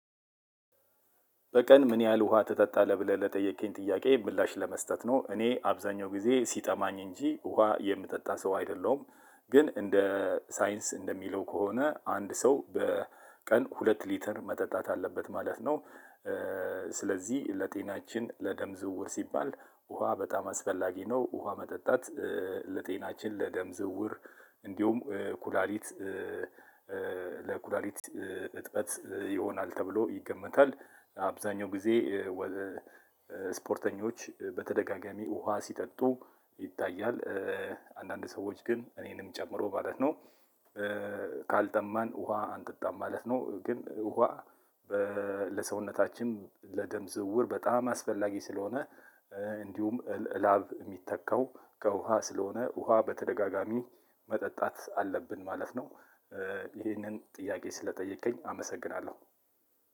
በቀን? ምን ያህል ውሃ ተጠጣለህ ብለህ ለጠየቅኝ ጥያቄ ምላሽ ለመስጠት ነው እኔ አብዛኛው ጊዜ ሲጠማኝ እንጂ ውሃ የምጠጣ ሰው አይደለሁም። ግን እንደ ሳይንስ እንደሚለው ከሆነ አንድ ሰው በቀን ሁለት ሊተር መጠጣት አለበት ማለት ነው። ስለዚህ ለጤናችን ለደም ዝውውር ሲባል ውሃ በጣም አስፈላጊ ነው። ውሃ መጠጣት ለጤናችን ለደም ዝውውር እንዲሁም ኩላሊት ለኩላሊት እጥበት ይሆናል ተብሎ ይገመታል። አብዛኛው ጊዜ ወ ስፖርተኞች በተደጋጋሚ ውሃ ሲጠጡ ይታያል። አንዳንድ ሰዎች ግን እኔንም ጨምሮ ማለት ነው። ካልጠማን ውሃ አንጥጣም ማለት ነው። ግን ውሃ ለሰውነታችን ለደም ዝውውር በጣም አስፈላጊ ስለሆነ እንዲሁም ላብ የሚተካው ከውሃ ስለሆነ ውሃ በተደጋጋሚ መጠጣት አለብን ማለት ነው። ይሄንን ጥያቄ ስለጠየከኝ አመሰግናለሁ።